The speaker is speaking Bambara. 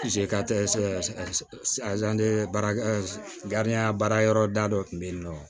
baara baara yɔrɔ dadɔ kun be yen nɔ